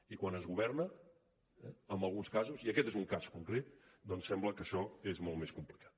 i quan es governa en alguns casos i aquest n’és un cas concret sembla que això és molt més complicat